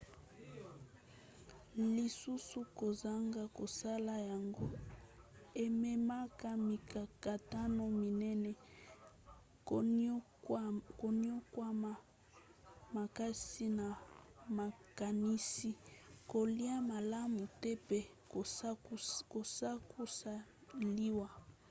lisusu kozanga kosala yango ememaka mikakatano minene: koniokwama makasi na makanisi kolia malamu te mpe sukasuka liwa